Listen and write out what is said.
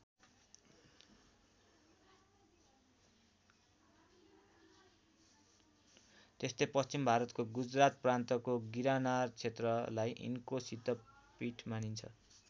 त्यस्तै पश्चिम भारतको गुजरात प्रान्तको गिरनारक्षेत्रलाई यिनको सिद्धपीठ मानिन्छ।